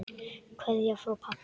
Kveðja frá pabba.